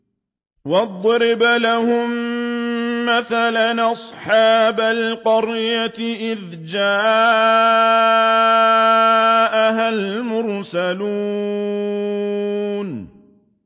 وَاضْرِبْ لَهُم مَّثَلًا أَصْحَابَ الْقَرْيَةِ إِذْ جَاءَهَا الْمُرْسَلُونَ